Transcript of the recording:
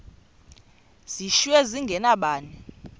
zishiywe zinge nabani